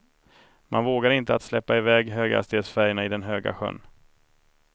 Man vågade inte att släppa iväg höghastighetsfärjorna i den höga sjön.